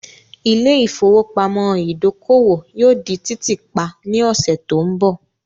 Ilé ìfowópamọ́ ìdókòwò yóò di títì pa ní ọ̀sẹ̀ tó ń bọ̀.